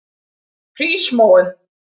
Hrísmóum